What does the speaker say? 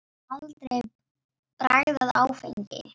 Ég hef aldrei bragðað áfengi.